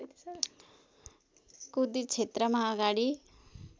कुती क्षेत्रमा अगाडि